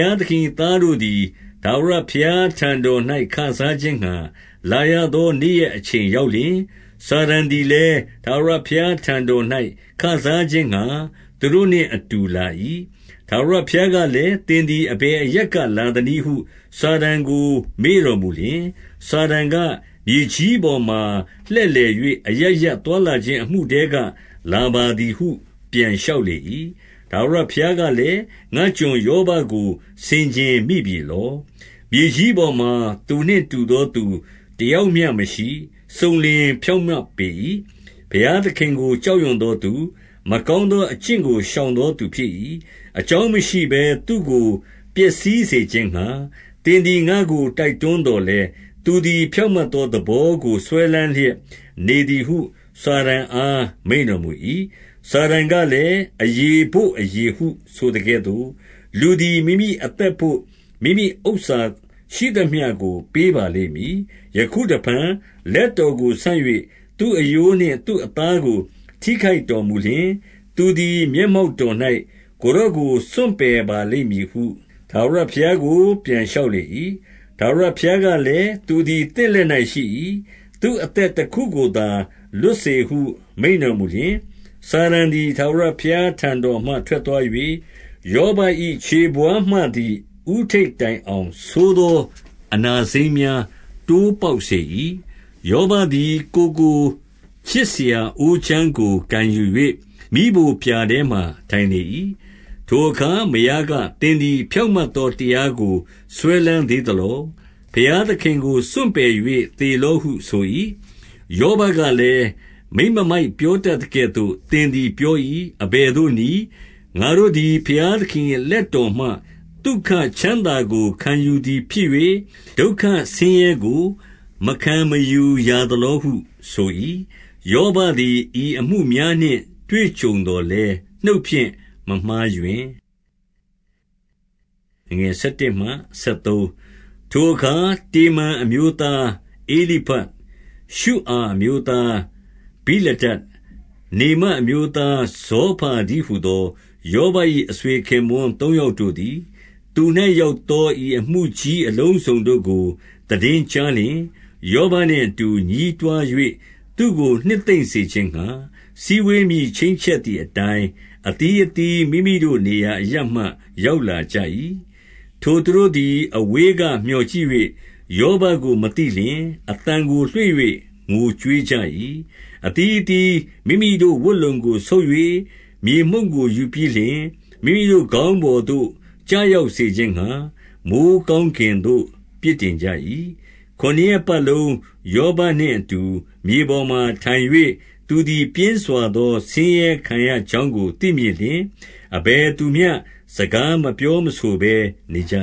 ားသခင်၏ သားတို့သည် ထာဝရဘုရားထံတော်၌ ခစားခြင်းငှါ လာရသောနေ့ရက်အချိန် ရောက်လျှင်၊ စာတန်သည်လည်း ထာဝရဘုရားထံတော်၌ခစားခြင်းငှါ သူတို့နှင့်အတူလာ၏။ 2 ထာဝရဘုရားကလည်း၊ သင်သည် အဘယ်အရပ်ကလာသနည်းဟု စာတန်ကိုမေးတော်မူလျှင်၊ စာတန်က၊ မြေကြီးပေါ်မှာလှည့်လည်၍ အရပ်ရပ်သွားလာခြင်း အမှုထဲကလာပါသည်ဟု ပြန်လျှောက်လေ၏။ 3 ထာဝရဘုရားကလည်း၊ ငါ့ကျွန်ယောဘကို ဆင်ခြင်မိပြီလော။ မြေကြီးပေါ်မှာသူနှင့်တူသောသူ တယောက်မျှမရှိ။ စုံလင်ဖြောင့်မတ်ပေ၏။ ဘုရားသခင်ကို ကြောက်ရွံ့သောသူ၊ မကောင်းသောအကျင့်ကို ရှောင်သောသူဖြစ်၏။ အကြောင်းမရှိဘဲ သူကိုပျက်စီးစေခြင်းငှါ သင်သည် ငါ့ကို တိုက်တွန်းသော်လည်း၊ သူသည် ဖြောင့်မတ်သောသဘောကို စွဲလမ်းလျက်နေသည်ဟု စာတန်အား မိန့်တော်မူ၏။ 4 စာတန်ကလည်း၊ အရေဘို့အရေဟုဆိုသကဲ့သို့၊ လူသည်မိမိအသက်ဘို့ မိမိဥစ္စာရှိသမျှကိုပေးပါလိမ့်မည်။ 5 ယခုတဖန် လက်တော်ကိုဆန့်၍ သူ့အရိုးနှင့် သူ့အသားကို ထိခိုက်တော်မူလျှင်၊ သူသည် မျက်မှောက် တော်၌ ကိုယ်တော်ကို စွန့်ပယ်ပါလိမ့်မည်ဟု ထာဝရဘုရားကို ပြန်လျှောက်လေ၏။ 6 ထာဝရဘုရားကလည်း၊ သူသည် သင့်လက်၌ ရှိ၏။ သူ့အသက်တခုကိုသာ လွတ်စေဟုမိန့်တော်မူလျှင်၊ 7 စာတန်သည် ထာဝရဘုရားထံတော်မှ ထွက်သွား၍ ယောဘ၏ ခြေဘဝါးမှသည် ဦးထိပ်တိုင်အောင် ဆိုးသောအနာစိမ်းများ တိုးပေါက်စေ၏။ 8 ယောဘသည် ကိုယ်ကိုခြစ်စရာ အိုးခြမ်းကို ကိုင်ယူ၍ မီးဖိုပြာထဲမှာ ထိုင်လေ၏။ 9 ထိုအခါမယားက၊ သင်သည် ဖြောင့်မတ်သောတရားကို စွဲလမ်းသေးသလော။ ဘုရားသခင်ကို စွန့်ပယ် ၍ သေလော့ဟုဆို၏။ 10 ယောဘကလည်း၊ မိန်းမမိုက်ပြောတတ်သကဲ့သို့ သင်သည်ပြော၏။ အဘယ်သို့နည်း။ ငါတို့သည် ဘုရား သခင်၏လက်တော်မှ သုခချမ်းသာကို ခံယူသည်ဖြစ်၍၊ ဒုက္ခဆင်းရဲကို မခံမယူရာသလောဟုဆို၏။ ယောဘ သည် ဤအမှုများနှင့် တွေ့ကြုံသော်လည်း နှုတ်ဖြင့်မျှမမှားယွင်း။ 11 ထိုအခါတေမန်အမျိုးသား ဧလိဖတ်၊ ရှုအာ အမျိုးသားဗိလဒဒ်၊ နေမတ်အမျိုးသားဇောဖါတည်း ဟူသော ယောဘ၏အဆွေခင်ပွန်း သုံးယောက်တို့သည်၊ သူ၌ရောက်သော ဤအမှုကြီးအလုံးစုံတို့ကို သိတင်း ကြားလျှင်၊ ယောဘနှင့်အတူ ညည်းတွား၍ သူ့ကိုနှစ်သိမ့်စေခြင်းငှါ၊ စည်းဝေးမည် ချိန်းချက်သည်အတိုင်း၊ အသီးအသီး မိမိတို့နေရာအရပ်မှ ရောက်လာကြ၏။ 12 ထိုသူတို့သည် အဝေးကမျှော်ကြည့်၍ ယောဘကို မသိလျှင်၊ အသံကိုလွှင့်၍ ငိုကြွေးကြ၏။ အသီးအသီး မိမိတို့ဝတ်လုံကိုဆုတ်၍ မြေမှုန့်ကို ယူပြီးလျှင် မိမိတို့ ခေါင်းပေါ်သို့ကျရောက်စေခြင်းငှါ၊ မိုဃ်းကောင်းကင်သို့ ပစ်တင်ကြ၏။ 13 ခုနစ်ရက်ပတ်လုံး ယောဘနှင့်အတူမြေပေါ်မှာထိုင်၍၊ သူသည်ပြင်းစွာသောဆင်းရဲခံရကြောင်းကို သိမြင်လျှင်၊ အဘယ်သူမျှ စကားမပြောမဆိုဘဲနေကြ